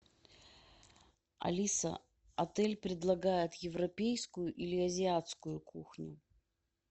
алиса отель предлагает европейскую или азиатскую кухню